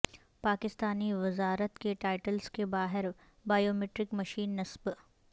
پاکستانی وزارت کے ٹائیلٹس کے باہر بائیو میٹرک مشینس نصب